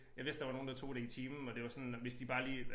Ja hvis der var nogen der tog det i timen og det var sådan hvis de bare lige